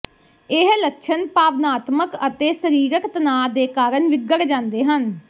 ਇਹ ਲੱਛਣ ਭਾਵਨਾਤਮਕ ਅਤੇ ਸਰੀਰਕ ਤਣਾਅ ਦੇ ਕਾਰਨ ਵਿਗੜ ਜਾਂਦੇ ਹਨ